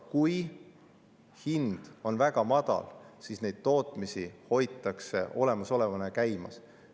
Kui hind on väga madal, siis neid tootmisi hoitakse käimas.